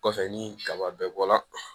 Kɔfɛ ni kaba bɛɛ bɔla